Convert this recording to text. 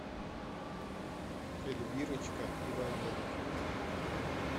эльвирочка иваненко